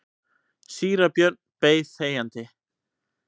Síra Björn beið þegjandi.